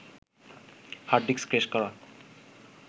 hard disk crash করা